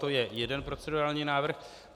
To je jeden procedurální návrh.